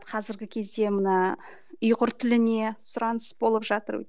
қазіргі кезде мына ұйғыр тіліне сұраныс болып жатыр